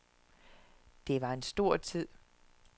Det var en stor tid.